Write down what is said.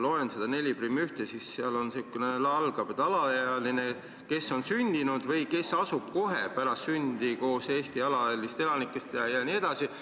Loen seda 41, see algab, et alaealine, kes on sündinud või kes asub kohe pärast sündi koos Eesti alalistest elanikest jne.